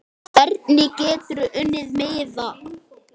Hvernig geturðu unnið miða?